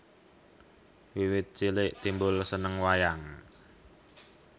Wiwit cilik Timbul seneng wayang